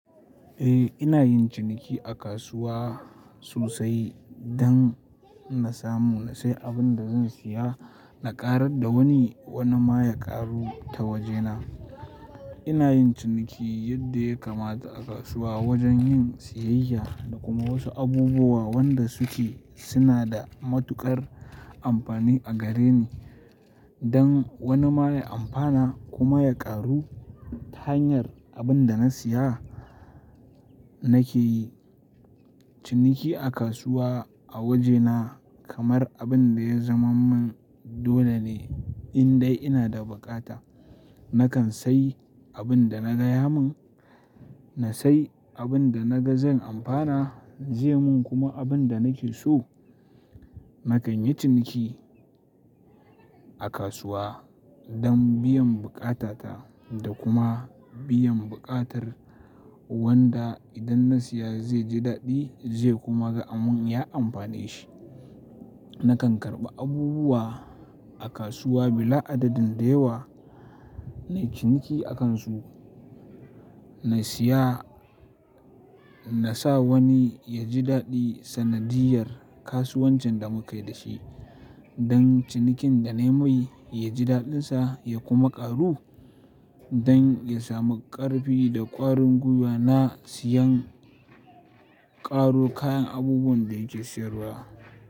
Eh, ina yin ciniki a kasuwa sosai don na samu na sayi abin da zan saya na ƙarar da wani wani ma ya ƙaru ta wajena. Ina yin ciniki yadda ya kamata a kasuwa wajen yin siyayya da kuma wasu abubuwa wanda suke suna da matuƙar amfani a gare ni. Don wani ma ya amfana kuma ya ƙaru ta hanyar abin da na siya nake yi ciniki a kasuwa a wajena kamar abin da ya zaman mun dole ne in dai ina da buƙata. Nakan sayi abin da na gaya mun, na sayi abin da na ga zan amfana zai mun kuma abin da nake so. Nakan yi ciniki a kasuwa dan biyan buƙatata da kuma biyan buƙatar wanda idan na siya zai ji daɗi zai kuma ga abun ya amfani shi. Nakan karɓi abubuwa a kasuwa bila adadin da yawa na yi ciniki akansu. Na siya, na sa wani ya ji daɗi sanadiyar kasuwancin da mukai da shi don cinikin da nayi mai ya ji daɗinsa ya kuma ƙaru don ya samu ƙarfi da ƙwarin gwiwa na siyan ƙaro kayan abubuwan da yake siyarwa.